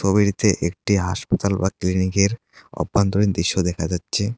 একটি হাসপাতাল বা ক্লিনিকের অভ্যন্তরীণ দৃশ্য দেখা যাচ্ছে।